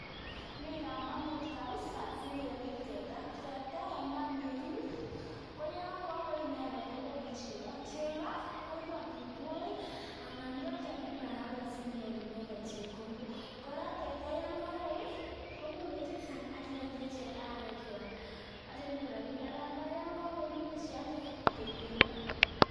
Bo kamanut kapisa kerib teta, teta en gaa ngerib koyon kokoi inendet kokonu chego, chego kokonu amitwogik anan iba kyalda en barabara sinyoru chepkondok, kora teta yon ko koi komuch koi chechang' akialde moekwak akinyoru rapinik anan kora yon ka koi imuche iyalde koik bendo.